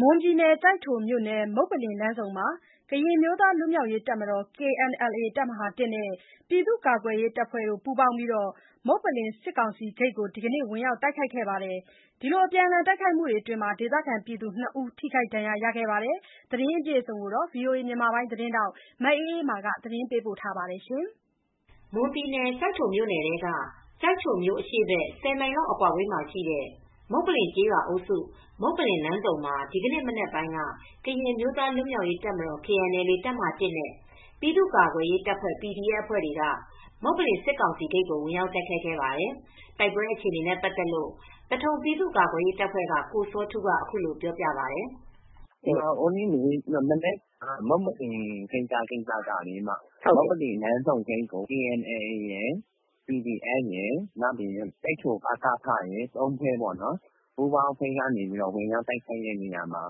မွန်ပြည်နယ် ကျိုက်ထိုမြို့နယ် မုပ္ပလင်လမ်းဆုံမှာ ကရင်အမျိုးသားလွတ် မြောက်ရေးတပ်မတော်-KNLA တပ်မဟာ-၁ နဲ့ ပြည်သူကာကွယ်ရေးတပ်ဖွဲ့တွေ ပူးပေါင်းပြီး မုပ္ပလင်စစ်ကောင်စီဂိတ်ကို ဒီနေ့ ဝင်ရောက်တိုက်ခိုက်ခဲ့ပါတယ်။ အပြန်အလှန်တိုက်ခိုက်မှုအတွင်း ဒေသခံ နှစ်ယောက် ထိခိုက်ဒဏ်ရာ ရခဲ့ပါတယ်။ ဒီသတင်းကို ဗွီအိုအေသတင်းထောက် မအေးအေးမာက သတင်းပေးပို့ထားပါတယ်။ မွန်ပြည်နယ် ကျိုက်ထိုမြို့နယ် မုပ္ပလင်လမ်းဆုံမှာ ဒီနေ့ မနက်ပိုင်းက ကရင်အမျိုးသားလွတ် မြောက်ရေးတပ်မတော်-KNLA တပ်မဟာ-၁ နဲ့ ပြည်သူကာကွယ်ရေး PDF အဖွဲ့တွေက မုပ္ပလင်စစ်ကောင်စီဂိတ်ကို ဝင်ရောက်တိုက်ခိုက်ခဲ့ပါတယ်။ တိုက်ပွဲအခြေအနေနဲ့ပတ်သက်လို့ သထုံပြည်သူ့ကာကွယ်ရေးတပ်ဖွဲ့က ကိုစောထူးက အခုလိုပြောပါတယ်။ “မနက်ကဖြစ်တဲ့မုပ္ပလင်ကိစ္စက မုပ္ပလင်လမ်းဆုံဂိတ်ကို KNLA ရယ်၊ PDF ရယ်၊ နောက်ပြီးတော့ ကျိုက်ထို ပကဖ ၃ ဖွဲ့ပေါ့နော်၊ ပူးပေါင်းအဖွဲ့တွေက ဝင်ရောက် တိုက်ခိုက်တဲ့နေရာမှာ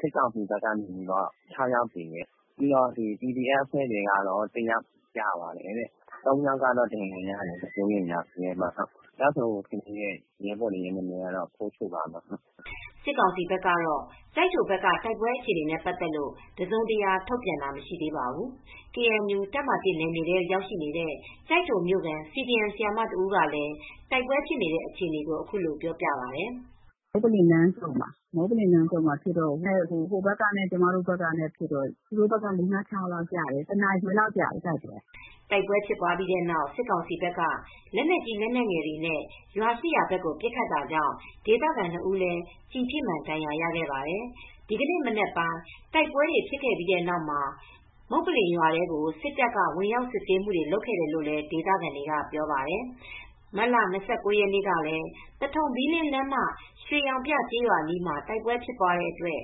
စစ်ကောင်စီဘက်က ၆ ယောက်သေတယ် PDF အဖွဲ့က တယောက်ကျတယ်။ ၃ ယောက်ကတော့ ဒဏ်ရာရတယ်။ မစိုးရိမ်ရဘူး။ ကျဆုံး PDF ရဲဘော်နံမည်ကတော့ ဖိုးချိုပါ။” စစ်ကောင်စီဘက်ကတော့ ကျိုက်ထိုဘက်က တိုက်ပွဲနဲ့ပတ်သက်လို့ တစုံတရာ ထုတ်ပြန်ခြင်းမရှိသေးပါဘူး။ KNU တပ်မဟာ နယ်မြေထဲရောက်နေတဲ့ ကျိုက်ထိုမြို့ခံ CDM ဆရာမတဦးကလည်းတိုက်ပွဲဖြစ်နေတဲ့အခြေအနေကို အခုလိုပြောပြပါတယ်။ “မုပ္ပလင်လမ်းဆုံမှာဖြစ်တော့ ဟိုဘက်ကနဲ့ ကျမတို့ဘက်ကဖြစ်တော့ သူတို့ဘက်က လေးငါးခြောက်ယောက်လောက်ကျတယ်။ တိုက်ပွဲဖြစ်ချိန်ကတော့ တနာရီခွဲလောက်ကြာတယ်။” တိုက်ပွဲဖြစ်ပြီးတဲ့နောက် စစ်ကောင်စီဘက်က လက်နက်ကြီးလက်နက်ငယ်တွေနဲ့ ရွာရှိရာဘက်ကို ပစ်ခတ်ခဲ့တာကြောင့် ဒေသခံ ၂ ဦးလည်း ကျည်ထိမှန် ဒဏ်ရာရခဲ့ပါတယ်။ ဒီနေ့မနက်ပိုင်း တိုက်ပွဲဖြစ် ခဲ့ပြီးနောက်မှာ မုပ္ပလင်ရွာထဲ စစ်တပ်က ဝင်ရောက်စစ်ဆေးတာတွေ လုပ်ခဲ့တယ်လို့လည်း ဒေသခံတွေက ပြောပါတယ်။ မတ်လ ၂၉ ရက်နေ့ကလည်း သထုံ-ဘီးလင်း လမ်းမ ရွှေရောင်ပြကျေးရွာအနီးမှာ တိုက်ပွဲဖြစ်ပြီး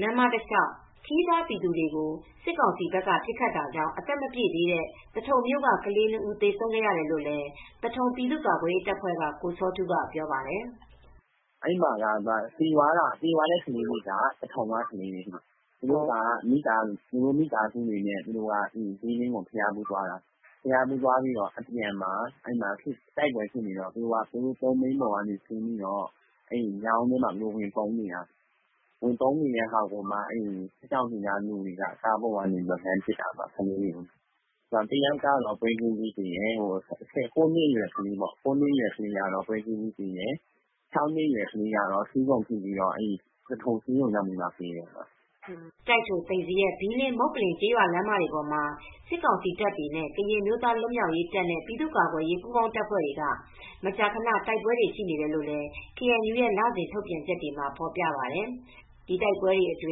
လမ်းမ တလျှောက် ခရီးသွား ပြည်သူတွေကို စစ်ကောင်စီဘက်က ပစ်ခတ်တာကြောင့် အသက်မပြည့်သေးတဲ့ သထုံမြို့က ကလေး၂ ဦးသေဆုံးခဲ့တယ်လို့ သထုံ ပြည်သူ့ကာကွယ်ရေးတပ်ဖွဲ့က ကိုစောထူးကပြောပါတယ်။ “သေသွားတဲ့သူတွေက သထုံကလူတွေပါ။ သူတို့မိသားစုတွေနဲ့ ဘီးလင်းကိုဘုရားဖူးသွားတယ်။ အဲဒီမှာ တိုက်ပွဲဖြစ်နေတော့ သူတို့ သုံးဘီးပေါ်ကနေဆင်းပြီး မြောင်းထဲဝင်ပုန်းနေတာ။ စစ်ကောင်စီဘက်က လူတွေက လှမ်းပစ်တာ။ ၉ နှစ်အရွယ်ကလေးကတော့ ပွဲချင်းပြီးသေတယ်။ ၆ နှစ်အရွယ်ကလေးကတော့ ဆီးခုံထိပြီး ဆေးရုံရောက်မှ သေတယ်။” ကျိုက်ထို၊ သိမ်ဇရပ်၊ ဘီးလင်း၊ မုပ္ပလင်ကျေးရွာလမ်းမတွေပေါ်မှာ စစ်ကောင်စီ တပ်တွေနဲ့ကရင်အမျိုးသားလွတ်မြောက်ရေးတပ်နဲ့ ပြည်သူ့ကာကွယ်ရေးပူးပေါင်းတပ်တွေ မကြာခဏ တိုက်ပွဲတွေရှိနေတယ် လို့ KNU ရဲ့ လစဉ်ထုတ်ပြန်ချက်တွေမှာ ဖော်ပြပါတယ်။ တိုက်ပွဲတွေအတွ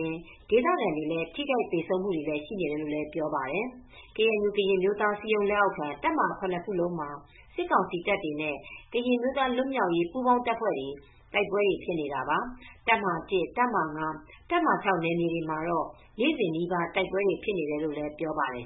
င်း ဒေသခံတွေ ထိခိုက်သေဆုံးတာတွေလည်း ရှိနေတယ်လို့ ပြောပါတယ်။ KNU ကရင် အမျိုးသားအစည်းအရုံး လက်အောက်ခံ တပ်မဟာ ခုနစ်ခုလုံးမှာ စစ်ကောင်စီတပ်တွေနဲ့ ကရင် အမျိုးသားလွတ်မြောက်ရေးပူးပေါင်းတပ်ဖွဲတွေ တိုက်ပွဲတွေဖြစ်နေတာပါ။ တပ်မဟာ ၊ တပ်မဟာ ၊ တပ်မဟာ နယ်မြေတွေမှာတော့ နေ့စဉ်နီးပါးတိုက်ပွဲတွေဖြစ်နေတယ်လို့ ပြောပါတယ်